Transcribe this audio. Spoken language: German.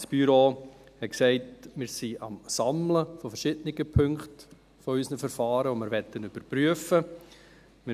Das Büro hat gesagt, dass wir am Sammeln verschiedener Punkte unserer Verfahren sind und dass wir sie überprüfen möchten.